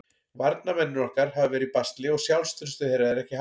Varnarmennirnir okkar hafa verið í basli og sjálfstraustið þeirra er ekki hátt.